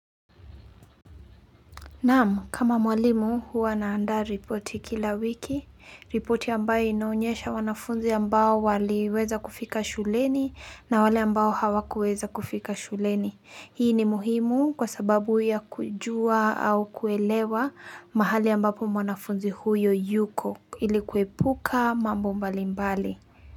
Naam kama mwalimu huwa naandaa ripoti kila wiki, ripoti ambayo inaonyesha wanafunzi ambao waliweza kufika shuleni na wale ambao hawakuweza kufika shuleni. Hii ni muhimu kwa sababu ya kujua au kuelewa mahali ambapo mwanafunzi huyo yuko ili kuepuka mambo mbalimbali.